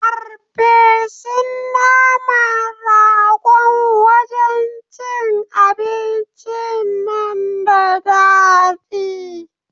Ferfesun naman ragon wajan cin abincin nan da daɗi